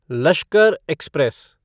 Lashkar express